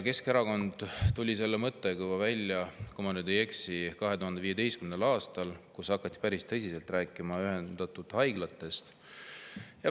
Keskerakond tuli selle mõttega välja, kui ma nüüd ei eksi, juba 2015. aastal, kui hakati päris tõsiselt rääkima ühendatud haiglatest.